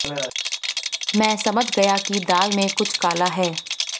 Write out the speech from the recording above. मैं समझ गया कि दाल में कुछ काला है